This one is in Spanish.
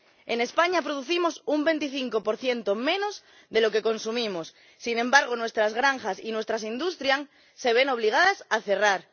En España producimos un 25 menos de lo que consumimos. Sin embargo, nuestras granjas y nuestras industrias se ven obligadas a cerrar.